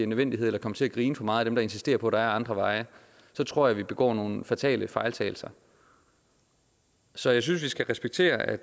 nødvendighed eller kommer til at grine for meget af dem der insisterer på at der er andre veje så tror jeg vi begår nogle fatale fejltagelser så jeg synes vi skal respektere at